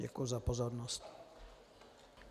Děkuji za pozornost.